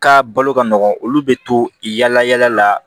Ka balo ka nɔgɔn olu bɛ to i yaala yala la